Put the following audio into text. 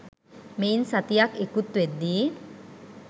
මෙයින් සතියක් ඉකුත් වෙද්දී